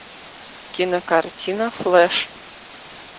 кинокартина флэш